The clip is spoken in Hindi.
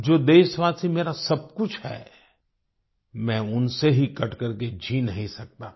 जो देशवासी मेरा सब कुछ है मैं उनसे ही कट करके जी नहीं सकता था